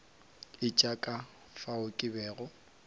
etša ka fao ke bego